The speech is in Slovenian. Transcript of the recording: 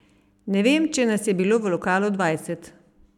Ne vem, če nas je bilo v lokalu dvajset.